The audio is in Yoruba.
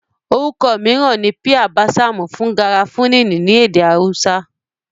Orúkọ mìíràn ni píà básàmù fún garafuni ní èdè awúsá